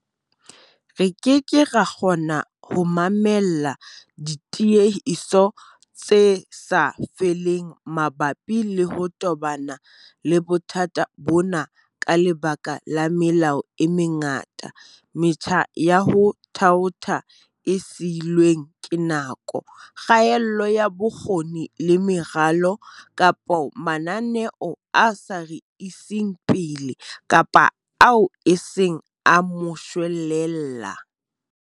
Re keke ra kgona ho mamella ditiehiso tse sa feleng mabapi le ho tobana le bothata bona ka lebaka la melao e mengata, metjha ya ho thaotha e siilweng ke nako, kgaello ya bokgoni le meralo, kapa mananeo a sa re iseng pele kapa ao e seng a moshwelella.